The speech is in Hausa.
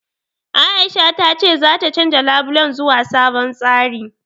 Aisha ta ce zata canja labulen zuwa sabon tsari.